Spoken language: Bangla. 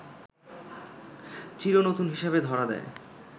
চির নতুন হিসেবে ধরা দেয়